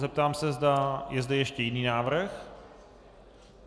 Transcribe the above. Zeptám se, zda je zde ještě jiný návrh.